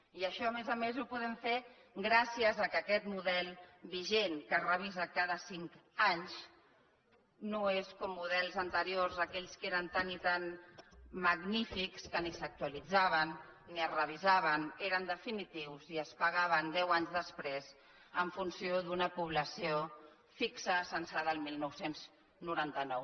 i això a més a més ho podem fer gràcies al fet que aquest model vigent que es revisa cada cinc anys no és com models anteriors aquells que eren tan i tan magnífics que ni s’actualitzaven ni es revisaven eren definitius i es pagaven deu anys després en funció d’una població fixa censada el dinou noranta nou